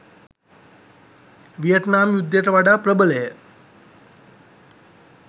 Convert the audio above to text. Vietnam යුද්ධයට වඩා ප්‍රබලය.